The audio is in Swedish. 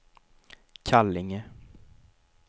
Kallinge